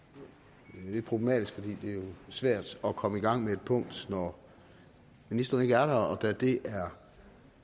men det problematisk fordi det jo er svært at komme i gang med et punkt når ministeren ikke er der og da det er